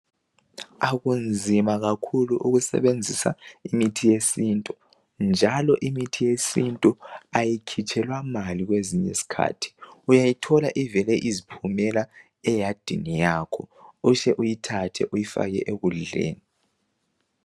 Akunzima kakhulu ukusebenzisa imithi yesintu njalo imithi yesintu ayikhitshela mali kwezinye isikhathi uyayithola ivele iziphumela eyadini yakho uhle uyithathe uyifake ekudleni.